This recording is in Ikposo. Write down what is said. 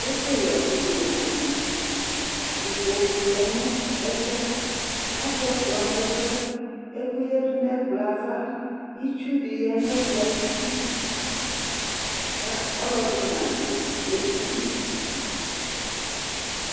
Ɛfu yɛ ɛku di la nu ɛmɛ Ikpoku lɛ nu ɛfu yɛ atu ɛkplɔ nu ɛfu yɛ Ɛku yadu nu ɛkplɔ yɛ ava Itsu di ya nu ɛkplɔ ayidu ku ɔlɔdi nadu edini yɛ